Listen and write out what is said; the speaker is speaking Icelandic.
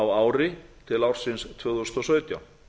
á ári til ársins tvö þúsund og sautján